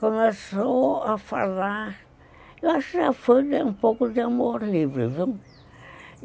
começou a falar, eu acho que já foi um pouco de amor livre, viu?